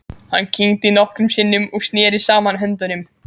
Hann kyngdi nokkrum sinnum og neri saman höndunum.